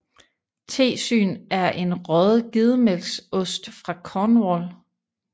Tesyn er en røget gedemælksost fra Cornwall